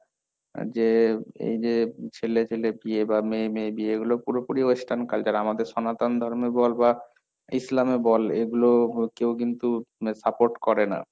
যে এই যে ছেলে ছেলে বিয়ে, বা মেয়ে মেয়ে বিয়ে এগুলো পুরোপুরি western culture আমাদের সনাতন ধর্মে বল বা ইসলামে বল এগুলো কেউ কিন্তু support করে না।